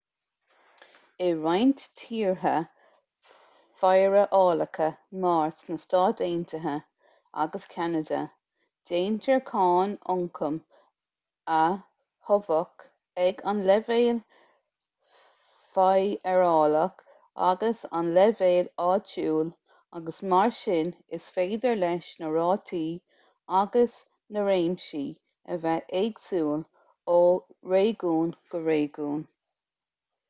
i roinnt tíortha feidearálacha mar na stáit aontaithe agus ceanada déantar cáin ioncaim a thobhach ag an leibhéal feidearálach agus ag an leibhéal áitiúil agus mar sin is féidir leis na rátaí agus na réimsí a bheith éagsúil ó réigiún go réigiún